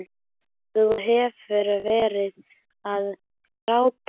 Þú hefur verið að gráta!